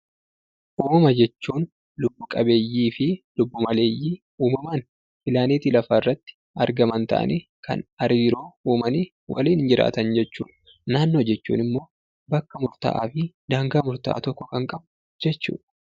Uumama jechuun lubbu qabeeyyii fi lubbu maleeyyii uumamaan pilaanetii lafaarratti argaman ta'anii, kan hariiroo uumanii waliin jiraatan jechuudha. Naannoo jechuun immoo bakka murtaa'aa fi daangaa murtaa'aa tokko kan qabu jechuudha.